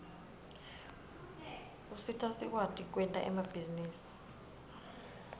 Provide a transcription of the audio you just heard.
usita sikwati kwenta emabhizinisi